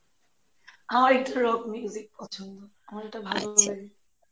হা, একটু rock পছন্দ আমার এটা ভালোও লাগে